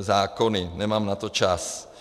zákony, nemám na to čas.